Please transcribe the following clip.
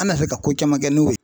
An na se ka ko caman kɛ n'o ye.